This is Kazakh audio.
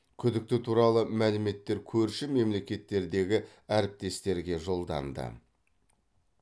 күдікті туралы мәліметтер көрші мемлекеттердегі әріптестерге жолданды